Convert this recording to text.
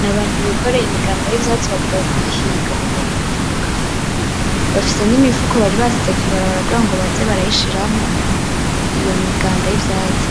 N'abantu bikoreye imiganda y'ivyatsi bavuye kuyihinga mu murima itadukanye, bafise n'imifuko bari basize kw'ibarabara kugira ngo baze barayishiramwo iyo miganda y'ivyatsi,